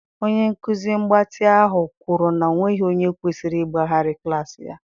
Onye nkuzi mgbatị ahụ kwuru na ọ nweghị onye kwesịrị ịgbaghara klaasị ya